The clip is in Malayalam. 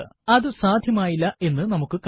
അതു സാധ്യമായില്ല എന്ന് നമുക്ക് കാണാം